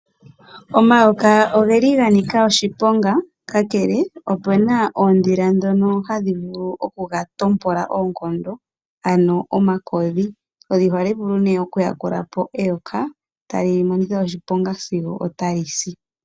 Omayoka oge li ga Nika oshiponga, ka kele opuna oodhila dhono hadhi vulu oku ga tompola oonkondo ano oma Kodhi. Oha li vulu oku yakula po eyoka e ta li monikithwaoshiponga sigo ota li si.